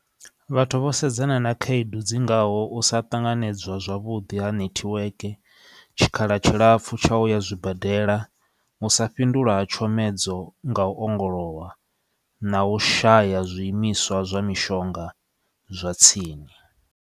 Vhathu vho sedzana na khaedu dzi ngaho u sa tanganedzwa zwavhuḓi ha network tshikhala tshilapfu tsha uya zwibadela u sa fhindulwa ha tshomedzo nga u ongolowa na u shaya zwiimiswa zwa mishonga zwa tsini.